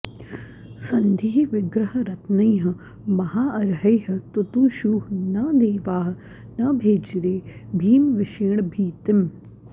सन्धि विग्रह रत्नैः महा अर्हैः तुतुशुः न देवाः न भेजिरे भीमविषेण भीतिम्